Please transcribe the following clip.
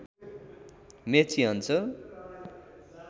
मेची अञ्चल